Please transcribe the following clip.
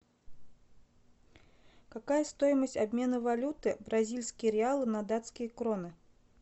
какая стоимость обмена валюты бразильские реалы на датские кроны